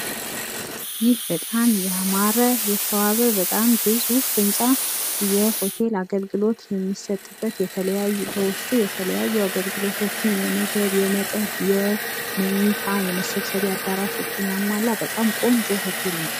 ይህ በጣም ያማረ የተዋበ በጣም ግዙፍ ህንጻ የሆቴል አገልግሎት የሚሰጥበት በውስጡ የተለያዩ አገልግሎቶችን የምግብ የመጠጥ የመኝታ የመሰብሰቢያ አዳራሾችን ያሟላ በጣም ቆንጆ ሆቴል ነው።